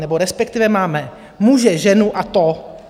Nebo respektive máme muže, ženu a "to".